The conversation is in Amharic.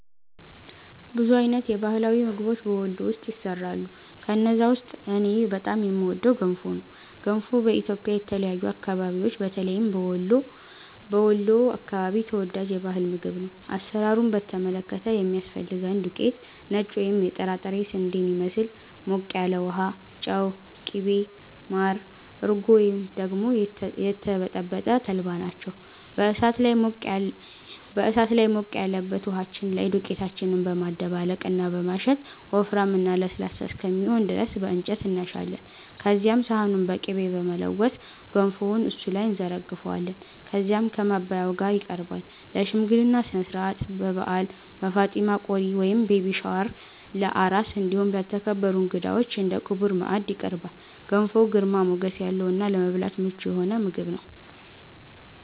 ብዙ አይነት የባህላዊ ምግቦች በ ወሎ ውስጥ ይሰራሉ። ከነዛ ውስጥ እኔ በጣም የምወደው ገንፎ ነው። ገንፎ በኢትዮጵያ የተለያዩ አከባቢዎች በተለይም በ ወሎ አከባቢ ተወዳጅ የ ባህል ምግብ ነው። አሰራሩን በተመለከተ የሚያስፈልገን ዱቄት(ነጭ ወይም የጥራጥሬ ስንዴን ይመስል)፣ ሞቅ ያለ ውሃ፣ ጨው፣ ቅቤ፣ ማር፣ እርጎ ወይም ደግሞ የተበጠበጠ ተልባ ናቸው። በ እሳት ላይ ሞቅ ያለበት ውሃችን ላይ ዱቄታችንን በማደባለቅ እና በማሸት ወፍራም እና ለስላሳ እስከሚሆን ድረስ በ እንጨት እናሻለን። ከዚያም ሰሃኑን በ ቅቤ በመለወስ ገንፎውን እሱ ላይ እንዘረግፈዋለን። ከዚያም ከ ማባያው ጋ ይቀርባል። ለ ሽምግልና ስነስርዓት፣ በ በዓል፣ በ ፋጢማ ቆሪ(ቤቢ ሻወር) ፣ለ አራስ እንዲሁም ለተከበሩ እንግዳዎች እንደ ክቡር ማዕድ ይቀርባል። ገንፎ ግርማ ሞገስ ያለው እና ለመብላት ምቹ የሆነ ምግብ ነው።